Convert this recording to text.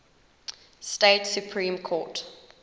state supreme court